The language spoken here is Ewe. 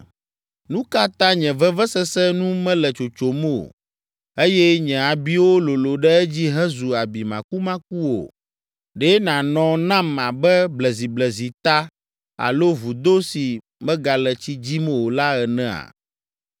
Nu ka ta nye vevesese nu mele tsotsom o eye nye abiwo lolo ɖe edzi hezu abi makumakuwo? Ɖe nànɔ nam abe bleziblezita alo vudo si megale tsi dzim o la enea?